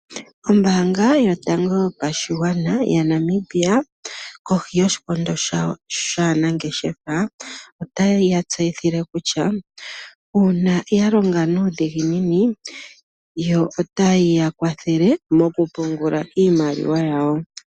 Ombaanga yotango yopashigwana yaNamibia kohi yoshikondo shawo shaanangeshefa otayi ya tseyithile kutya uuna ya longa nuudhiginini yo otayi ya kwathele mokupungula iimaliwa yawo.